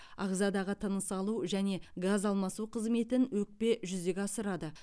ағзадағы тыныс алу және газ алмасу қызметін өкпе жүзеге асырады